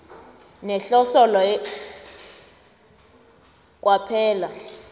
nehloso leyo kwaphela